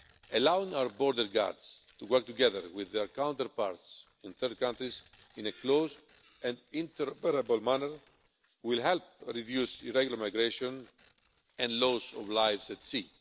Allowing our border guards to work together with their counterparts in third countries, in a close and interoperable manner, will help reduce irregular migration and the loss of lives at sea.